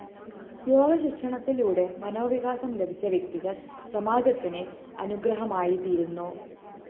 യോഗശിക്ഷണത്തിലൂടെ മനോവികാസം ലഭിച്ച വ്യക്തികള്‍ സമാജത്തിന് അനുഗ്രഹമായിത്തീരുന്നു